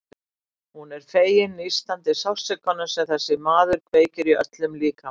Hún er fegin nístandi sársaukanum sem þessi maður kveikir í öllum líkama hennar.